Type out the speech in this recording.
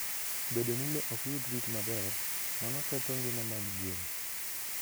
Bedo ni le ok yud rit maber, mano ketho ngima mag gwen.